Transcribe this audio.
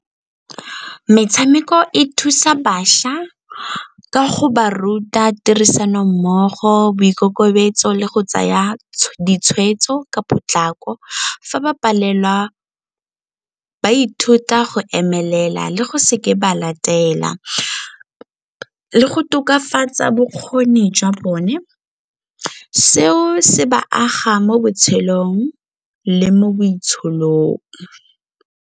Metshameko e thusa bašwa ka go ba ruta tirisanommogo, boikokobetso le go tsaya ditshwetso ka potlako. Fa ba palelwa ba ithuta go emelela le go seke ba le go tokafatsa bokgoni jwa bone, seo se ba aga mo botshelong le mo boitsholong.